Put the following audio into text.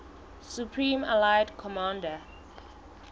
supreme allied commander